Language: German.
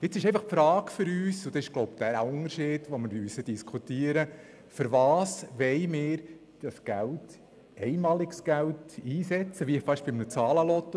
Für uns stellt sich einfach die Frage – und ich glaube, das ist der Unterschied, den wir diskutieren müssen –, wofür wir dieses einmalige Geld einsetzen wollen, das uns zur Verfügung steht.